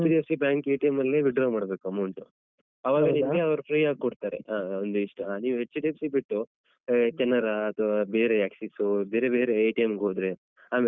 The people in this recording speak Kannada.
ನೀವ್ HDFC bank ಅಲ್ಲೇ withdraw ಮಾಡ್ಬೇಕು amount ಅವಾಗ ನಿಮ್ಗೆ ಅವ್ರು free ಆಗ್ ಕೊಡ್ತಾರೆ ಅಹ್ ಅಹ್ ಒಂದಿಷ್ಟ್ ನೀವ್ HDFC ಬಿಟ್ಟು ಅಹ್ ಕೆನರಾ ಅಥ್ವಾ ಬೇರೆ ಆಕ್ಸಿಸು ಬೇರೆ ಬೇರೆ ಹೋದ್ರೆ ಆಮೇಲೆ ಹೋಗಿ.